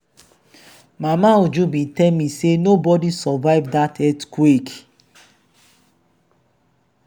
mama uju bin tell me say nobody survive for dat earthquake..